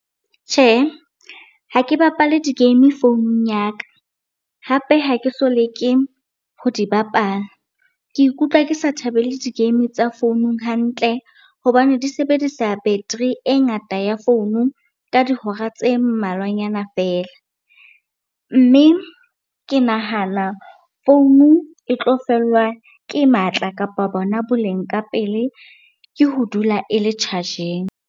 Tjhe, ha ke bapale di-game founung ya ka, hape ha ke so leke ho di bapala. Ke ikutlwa ke sa thabele di-game tsa founung hantle hobane di sebedisa battery e ngata ya founu ka dihora tse mmalwanyana feela. Mme ke nahana founu e tlo fellwa ke matla kapa bona boleng ka pele, ke ho dula e le charge-eng.